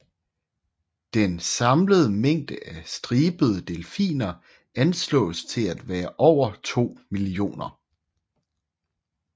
Den samlede mængde af stribede delfiner anslås til at være over to millioner